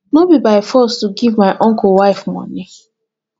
no be by force to give my uncle wife money